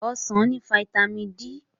Ọsàn ní fataímìn D.